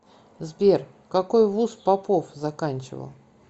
сбер какой вуз попов заканчивал